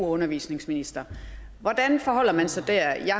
undervisningsminister hvordan forholder man sig der jeg